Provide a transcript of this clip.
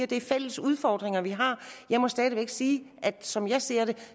det er fælles udfordringer vi har jeg må stadig væk sige at som jeg ser det